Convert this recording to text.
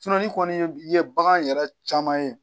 ni kɔni ye bagan yɛrɛ caman ye